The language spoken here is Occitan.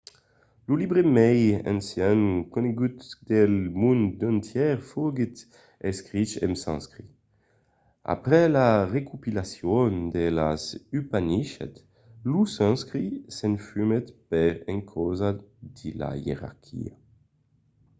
lo libre mai ancian conegut del mond entièr foguèt escrich en sanscrit. après la recopilacion de las upanishads lo sanscrit s'esfumèt per encausa de la ierarquia